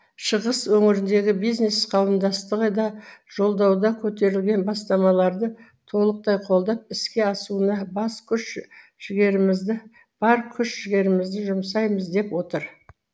шығыс өңіріндегі бизнес қауымдастығы да жолдауда көтерілген бастамаларды толықтай қолдап іске асуына бар күш жігерімізді жұмсаймыз деп отыр